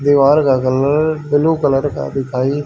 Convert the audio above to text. दीवार का colour blue colour का दिखाइ--